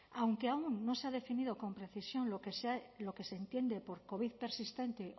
aunque aún no se ha definido con precisión lo que entiende por covid persistente